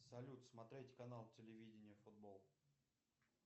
салют смотреть канал телевидения футбол